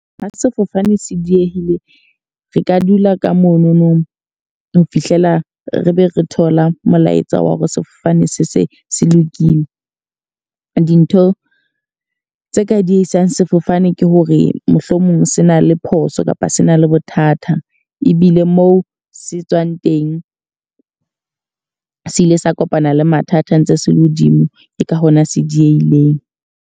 Ha sefofane se diehile, re ka dula ka mononong ho fihlela re be re thola molaetsa wa hore sefofane se se se lokile. Dintho tse ka diehisang sefofane ke hore mohlomong se na le phoso kapa se na le bothata. Ebile moo se tswang teng se ile sa kopana le mathata ntse se le hodimo. Ke ka hona se diehileng.